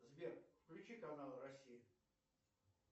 сбер включи канал россия